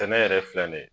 Tɛnɛ yɛrɛ filɛ nin ye